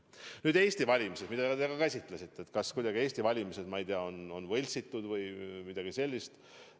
Nüüd, Eesti valimised, mida te ka märkisite – et kas Eesti valimised on kuidagi võltsitud või midagi sellist.